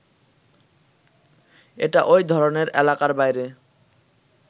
এটা ওই ধরনের এলাকার বাইরে